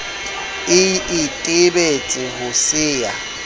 e itebetse ho se ya